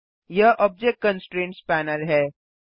यह object constraints panel है